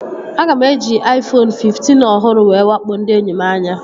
Aga m eji Aifonu fiftin ọhụrụ m wakpo ndị enyi m anya